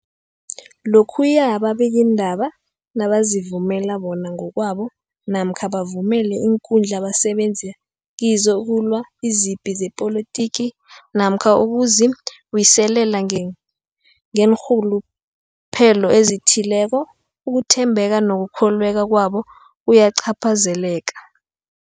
Lokhuya ababikiindaba nabazivumela bona ngokwabo namkha bavumele iinkundla abasebenza kizo ukulwa izipi zepolitiki namkha ukuzi buyiselela ngeen ngeenrhuluphelo ezithileko, ukuthembeka nokukholweka kwabo kuyacaphazeleka.